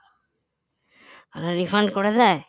refund করে দেয়